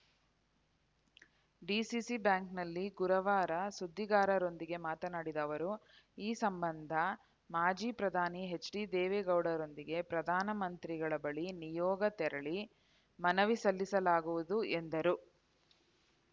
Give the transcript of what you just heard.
DCC ಬ್ಯಾಂಕ್‌ನಲ್ಲಿ ಗುರುವಾರ ಸುದ್ದಿಗಾರರೊಂದಿಗೆ ಮಾತನಾಡಿದ ಅವರು ಈ ಸಂಬಂಧ ಮಾಜಿ ಪ್ರಧಾನಿ ಎಚ್‌ಡಿದೇವೇಗೌಡರೊಂದಿಗೆ ಪ್ರಧಾನ ಮಂತ್ರಿಗಳ ಬಳಿ ನಿಯೋಗ ತೆರಳಿ ಮನವಿ ಸಲ್ಲಿಸಲಾಗುವುದು ಎಂದರು